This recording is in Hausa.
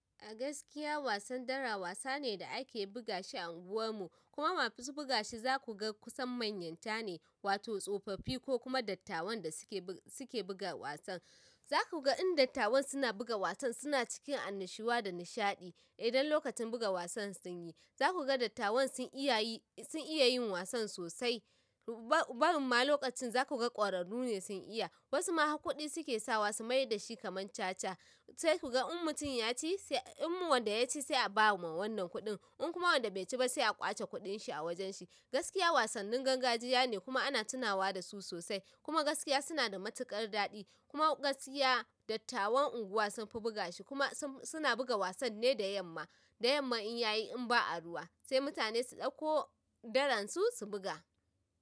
A gaskiya wasan dara wasane da ake bugashi a unguwar mu kuma masu bugashi zakuga kusan manyanta ne wato tsofaffi ko kuma dattawan da suke buga wasan. Za ku ga in dattawan suna buga wasan suna cikin annashuwa da nishaɗi. Idan lokacin buga wasan sunyi zakuga dattawan sun iya yin wasan sosai barinma lokacin za ku ga ƙwararru ne sun iya. Wasu ma har kuɗi suke sawa su mai da shi kamar caca. Sai ku ga in mutum ya ci, in wanda ya ci sai a ba wa ma wannan kuɗin. In kuma wanda bai ci ba sai a ƙwace kuɗin shi a wajen shi. Gaskiya wasannin gangajiya ne kuma ana tunawa da su sosai. Kuma gaskiya suna da matuƙar daɗi. Kuma gaskiya dattawan unguwa sun fi buga shi kuma suna buga wasan ne da yamma. Da yamma in yayi in ba'a ruwa sai mutane su ɗauko daran su su buga.